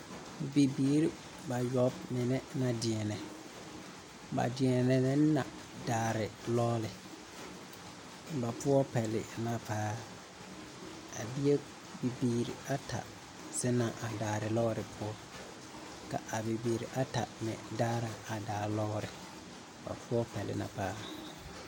Bibiiri bayoɔbo mine na beɛnɛ, ba deɛnɛ ne na daare lɔɔle. Ba poɔ pɛle na paa, a bie, bibiiri ata zena a daare lɔɔre poɔ, ka a bibiiri ata meŋ daara a daa lɔɔre. Ba poɔ pɛle na paa.